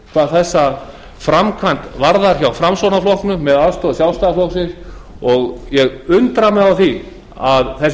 hvað þessa framkvæmd varðar hjá framsóknarflokknum með aðstoð sjálfstæðisflokksins og ég undra mig á því að þessir